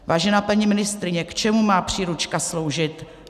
Vážená paní ministryně, k čemu má příručka sloužit?